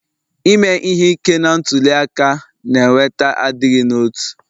Ime ihe ike na ntuli aka na-eweta adịghị n'otu